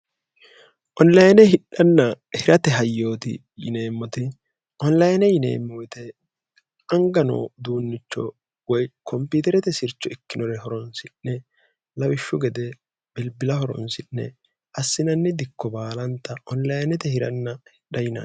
onlayine hidhanna hirate hayyooti yineemmote onlayine yineemmoyite angano duunnicho woy kompuuterete sircho ikkinore horonsi'ne lawishshu gede bilbila horonsi'ne assinanni dikko baalanta onlayinete hiranna hidha yino